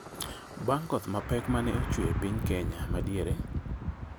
bang’ koth mapek ma ne chwe e piny Kenya ma Diere.